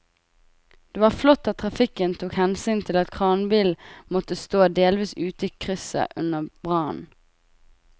Det var flott at trafikken tok hensyn til at kranbilen måtte stå delvis ute i krysset under brannen.